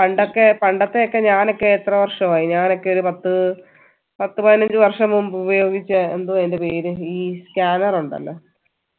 പണ്ടക്കെ പണ്ടൊക്കെ ഞാൻ എത്ര വർഷം ആയി ഞാനൊക്കെ ഒരു പത്ത് പത്ത് പതിനഞ്ചു വര്ഷം മുമ്പ് ഉപയോഗിച്ചേ എന്തുവാ അയിൻറെ പേര് ഈ scanner ഉണ്ടല്ലോ